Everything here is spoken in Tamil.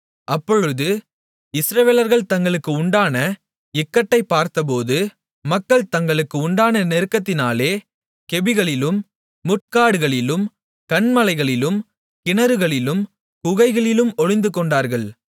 அப்பொழுது இஸ்ரவேலர்கள் தங்களுக்கு உண்டான இக்கட்டை பார்த்தபோது மக்கள் தங்களுக்கு உண்டான நெருக்கத்தினாலே கெபிகளிலும் முட்காடுகளிலும் கன்மலைகளிலும் கிணறுகளிலும் குகைகளிலும் ஒளிந்துகொண்டார்கள்